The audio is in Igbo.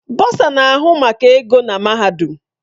Bọsa na-ahụ maka ego na mahadum.